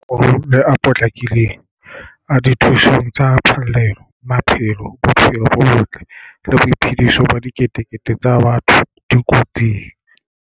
Le a potlakileng a dithuso tsa phallelo. Maphelo, bophelo bo botle le boiphediso ba diketekete tsa batho di kotsing.